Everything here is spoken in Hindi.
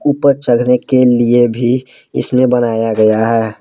ऊपर चढ़ने के लिए भी इसमें बनाया गया है